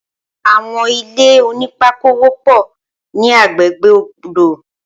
Awọn ilé ónìpàkó wọpọ ni àgbégbé ódó